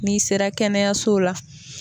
Ni sera kɛnɛyaso la